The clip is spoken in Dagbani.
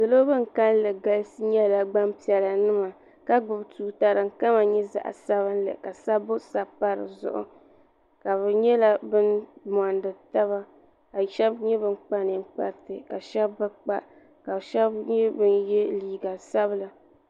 salo bin kanli galisi nyɛla gbanpiɛla nima ka gbubi tuuta din kama nyɛ zaɣ sabinli ka sabbu sabi pa dizuɣu ka bi nyɛla bin mondi taba ka shab nyɛ bin kpa ninkpariti ka shab bi kpa ka shab nyɛ bin yɛ liiga sabila